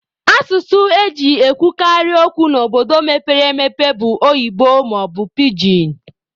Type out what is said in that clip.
Asụsụ e ji ekwukarị okwu n'obodo mepere emepe bụ oyibo maọbụ pijin.